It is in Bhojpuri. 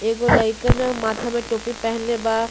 एगो लईकन माथे में टोपी पहन ले बा।